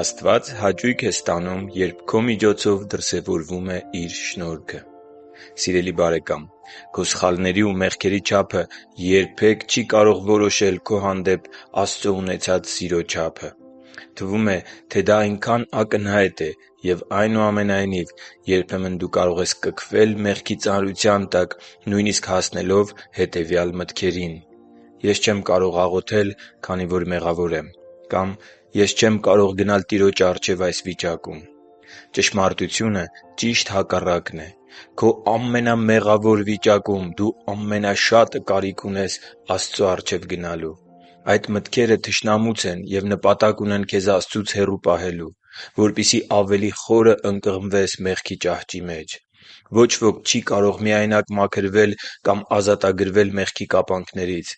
Աստված հաճույք է ստանում, երբ քո միջոցով դրսևորվում է Իր շնորհքը Սիրելի՛ բարեկամ, քո սխալների ու մեղքերի չափը երբեք չի կարող որոշել քո հանդեպ Աստծո ունեցած սիրո չափը: Թվում է, թե դա այնքան ակնհայտ է, և, այնուամենայնիվ, երբեմն դու կարող ես կքվել մեղքի ծանրության տակ, նույնիսկ հասնելով հետևյալ մտքերին․ «Ես չեմ կարող աղոթել, քանի որ մեղավոր եմ» կամ «Ես չեմ կարող գնալ Տիրոջ առջև այս վիճակում»: Ճշմարտությունը ճիշտ հակառակն է։ Քո ամենամեղավոր վիճակում դու ամենաշատը կարիք ունես Աստծո առջև գնալու։ Այդ մտքերը թշնամուց են և նպատակ ունեն քեզ Աստծուց հեռու պահել, որպեսզի ավելի խորը ընկղմվես մեղքի ճահճի մեջ։ Ոչ ոք չի կարող միայնակ մաքրվել կամ ազատագրվել մեղքի կապանքներից։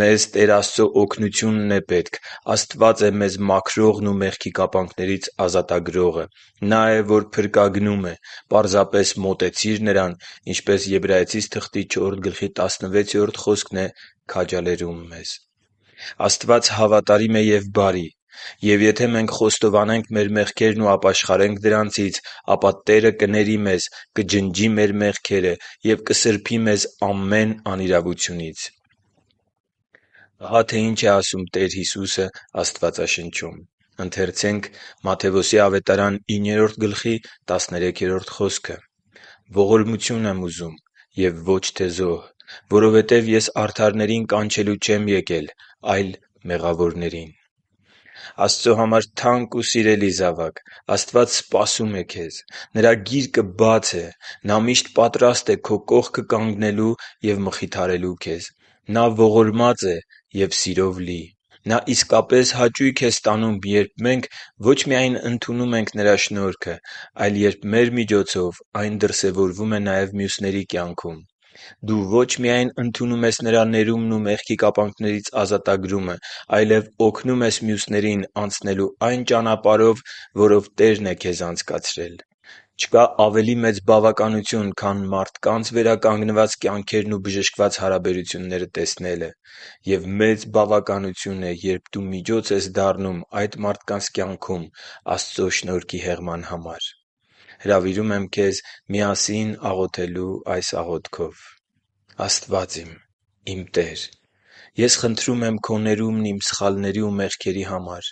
Մեզ Տեր Աստծո օգնությունն է պետք: Աստված է մեզ մաքրողն ու մեղքի կապանքներից ազատագրողը: Նա է, որ փրկագնում է: Պարզապես մոտեցիր Նրան, ինչպես Եբրայեցիս 4.16 խոսքն է քաջալերում մեզ։ Աստված հավատարիմ է և բարի: Եվ եթե մենք խոստովանենք մեր մեղքերն ու ապաշխարենք դրանցից, ապա Տերը կների մեզ, կջնջի մեր մեղքերը և կսրբի մեզ ամեն անիրավությունից: Ահա թե ինչ է ասում Տեր Հիսուսը Աստվածաշնչում. «Ողորմություն եմ ուզում և ոչ թե զոհ (Ովս. 6.6). որովհետև Ես արդարներին կանչելու չեմ եկել, այլ մեղավորներին» (Մատթեոս 9.13)։ Աստծո համար թանկ ու սիրելի՛ զավակ, Աստված սպասում է քեզ: Նրա գիրկը բաց է։ Նա միշտ պատրաստ է քո կողքը կանգնելու և մխիթարելու քեզ: Նա ողորմած է և սիրով լի: Նա իսկապես հաճույք է ստանում, երբ մենք ոչ միայն ընդունում ենք Նրա շնորհքը, այլ երբ մեր միջոցով այն դրսևորվում է նաև մյուսների կյանքում։ Դու ոչ միայն ընդունում ես Նրա ներումն ու մեղքի կապանքներից ազատագրումը, այլև օգնում ես մյուսներին անցնելու այն ճանապարհով, որով Տերն է քեզ անցկացրել։ Չկա ավելի մեծ բավականություն, քան մարդկանց վերականգնված կյանքերն ու բժշկված հարաբերությունները տեսնելը։ Եվ մեծ բավականություն է, երբ դու միջոց ես դառնում այդ մարդկանց կյանքում Աստծո շնորհքի հեղման համար․․․ Հրավիրում եմ քեզ միասին աղոթել այս աղոթքով․ «Աստվա՛ծ իմ, իմ Տե՛ր, ես խնդրում եմ Քո ներումն իմ սխալների ու մեղքերի համար: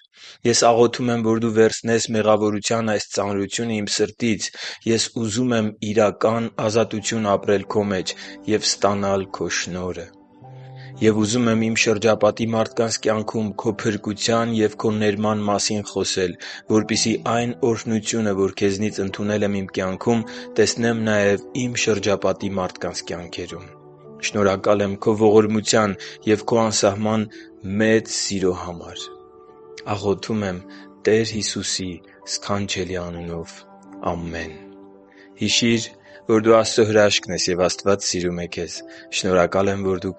Ես աղոթում եմ, որ դու վերցնես մեղավորության այս ծանրությունը իմ սրտից: Ես ուզում եմ իրական ազատություն ապրել Քո մեջ և ստանալ Քո շնորհը: Եվ ուզում եմ իմ շրջապատի մարդկանց կյանքում քո փրկության և Քո ներման մասին խոսել, որպեսզի այն օրհնությունը, որ Քեզնից ընդունել եմ իմ կյանքում, տեսնեմ նաև իմ շրջապատի մարդկանց կյանքերում։ Շնորհակալ եմ Քո ողորմության և Քո անսահման մեծ սիրո համար: Աղոթում եմ Տեր Հիսուսի սքանչելի անունով։ Ամե՛ն»: Հիշի՛ր, որ դու Աստծո հրաշքն ես, և Աստված սիրում է քեզ։ Շնորհակալ եմ, որ դու